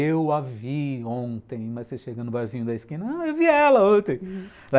Eu a vi ontem, mas você chega no barzinho da esquina, eu vi ela ontem, uhum.